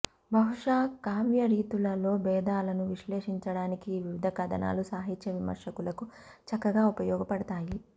బహుశా కావ్యరీతులలో భేదాలను విశ్లేషించడానికి ఈ వివిధ కథనాలు సాహిత్య విమర్శకులకు చక్కగా ఉపయోగపడతాయి